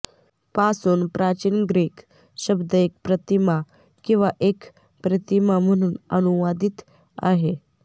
पासून प्राचीन ग्रीक शब्द एक प्रतिमा किंवा एक प्रतिमा म्हणून अनुवादित आहे